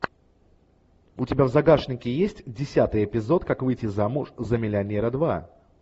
у тебя в загашнике есть десятый эпизод как выйти замуж за миллионера два